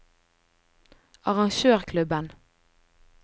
arrangørklubben